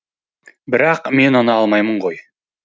бірақ мен оны алмаймын ғой